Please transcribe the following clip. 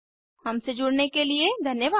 हमसे जुड़ने के लिए धन्यवाद